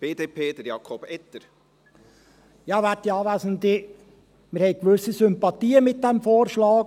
Wir haben gewisse Sympathien für diesen Vorschlag.